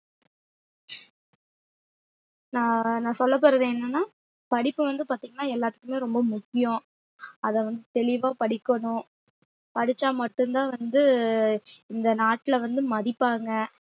ஆஹ் நான் சொல்லப்போறது என்னன்னா படிப்பு வந்து பாத்தீங்கன்னா எல்லாத்துக்குமே ரொம்ப முக்கியம் அத வந்து தெளிவா படிக்கணும் படிச்சா மட்டும் தான் வந்து இந்த நாட்டுல வந்து மதிப்பாங்க